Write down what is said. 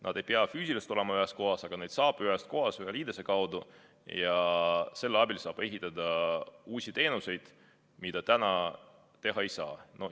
Nad ei pea füüsiliselt olema ühes kohas, aga neid saab ühest kohast ühe liidese kaudu ja selle abil saab ehitada uusi teenuseid, mida täna teha ei saa.